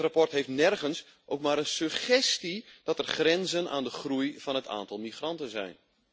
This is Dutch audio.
Het verslag heeft nergens ook maar een suggestie dat er grenzen aan de groei van het aantal migranten zijn.